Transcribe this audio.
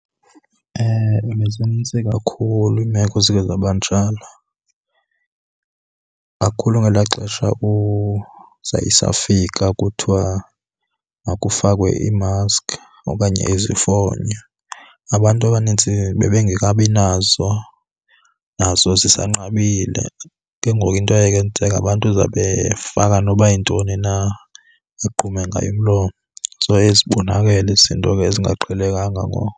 Ewe, bezinintsi kakhulu iimeko eziye zaba njalo, kakhulu ngelaa xesha zayisafika kuthiwa makufakwe iimaski okanye izifonyo. Abantu abanintsi bebengekabi nazo, nazo zisanqabile, ke ngoku into eyayenzeka abantu zabefaka noba yintoni na egqume ngayo umlomo. So zibonakele izinto ke ezingaqhelekanga ngoko.